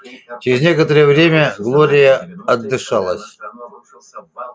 через некоторое время глория отдышалась